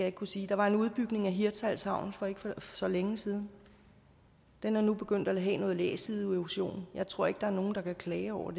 ikke kunne sige der var en udbygning af hirtshals havn for ikke så længe siden og den er nu begyndt at have noget læsideerosion jeg tror ikke der er nogen der kan klage over